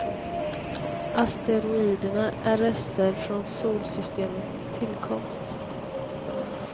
Asteroiderna är rester från solsystemets tillkomst.